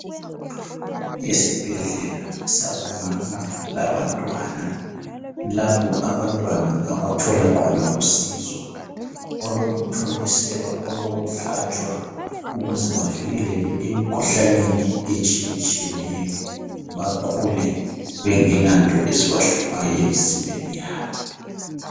Esibhedlela sabomama labantwana, lapho abantwana abathola khona usizo olokuthontiselwa, olokuhlatshwa ukuze bavukeleke emikhuhlaneni etshiyatshiyeneyo bakhule bengelanto ezibahluphayo emzimbeni yabo.